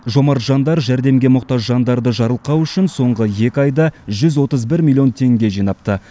жомарт жандар жәрдемге мұқтаж жандарды жарылқау үшін соңғы екі айда жүз отыз бір миллион теңге жинапты